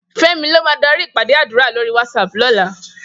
Femi ló má dàri ipàdé àdúrá lóri WhatsApp lòlá